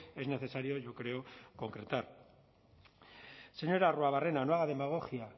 es necesario yo creo concretar señor arruabarrena no haga demagogia